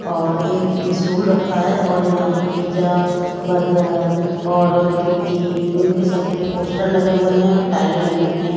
और एक स्टूल रखा है और यहां पे पिज्जा बर्गर और टिक्की उनके सबके पोस्टर लगे हुए हैं और टाइलें लगी हुई हैं।